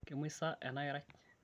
kemuoi sa ena kerai?